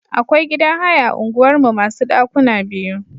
Akwai gidan haya a unguwar mu masu ɗakuna biyu.